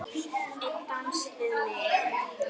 Einn dans við mig